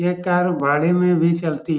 ये कार भारे में भी चलती --